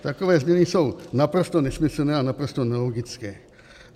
Takové změny jsou naprosto nesmyslné a naprosto nelogické.